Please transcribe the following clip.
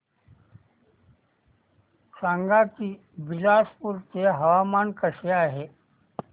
सांगा की बिलासपुर चे हवामान कसे आहे